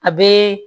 A bɛ